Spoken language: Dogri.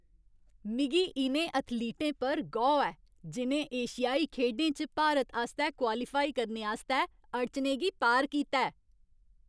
मिगी इ'नें एथलीटें पर गौह् ऐ जि'नें एशियाई खेढें च भारत आस्तै क्वालीफाई करने आस्तै अड़चनें गी पार कीता ऐ।